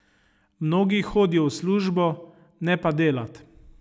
Mnogi hodijo v službo, ne pa delat.